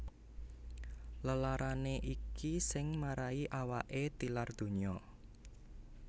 Lelarané iki sing marahi awaké tilar donya